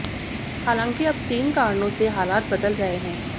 हालांकि अब तीन कारणों से हालात बदल रहे हैं